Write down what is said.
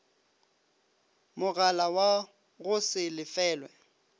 mogala wa go se lefelwe